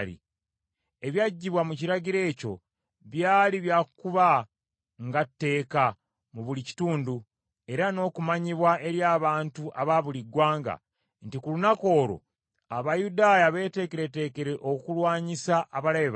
Ebyaggyibwa mu kiragiro ekyo byali bya kuba nga tteeka mu buli kitundu, era n’okumanyibwa eri abantu aba buli ggwanga, nti ku lunaku olwo Abayudaaya beeteekereteekere okulwanyisa abalabe baabwe.